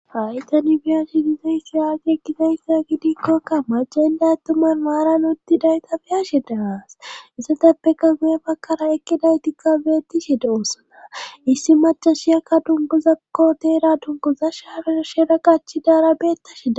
haytani biyashi diza issi aagi ekkizayssa gidikkokka ma jenday tuman maaran ottidayta biyashe daasissateppeka guye bakkara ekkidaytikka beetti shida osona issi macashiyakka dungozakko deera dungoza shaareo shera qachi daara beetta shida